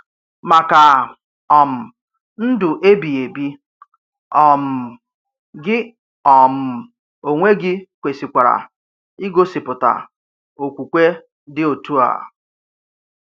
Maka um ndụ ebighị ebi, um gị um onwe gị kwesịkwara igosipụta okwukwe dị otu a.